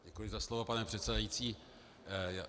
Děkuji za slovo, pane předsedající.